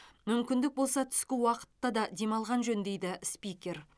мүмкіндік болса түскі уақыта да демалған жөн дейді спикер